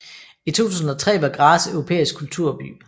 I 2003 var Graz europæisk kulturby